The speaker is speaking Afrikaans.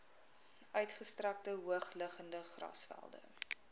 uitgestrekte hoogliggende grasvelde